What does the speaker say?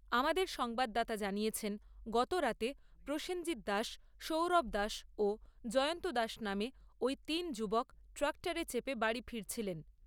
আমাদের সংবাদদাতা জানিয়েছেন, গতরাতে প্রসেনজিত দাস, সৌরভ দাস ও জয়ন্ত দাস নামে ওই তিন যুবক ট্রাক্টরে চেপে বাড়ি ফিরছিলেন।